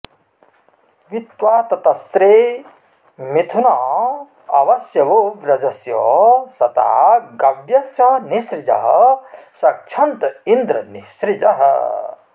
वि त्वा ततस्रे मिथुना अवस्यवो व्रजस्य साता गव्यस्य निःसृजः सक्षन्त इन्द्र निःसृजः